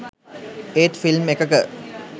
ඒත් ෆිල්ම් එකක